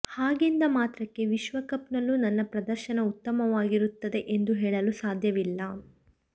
ಹಾಗೆಂದ ಮಾತ್ರಕ್ಕೆ ವಿಶ್ವಕಪ್ ನಲ್ಲೂ ನನ್ನ ಪ್ರದರ್ಶನ ಉತ್ತಮವಾಗಿರುತ್ತದೆ ಎಂದು ಹೇಳಲು ಸಾಧ್ಯವಿಲ್ಲ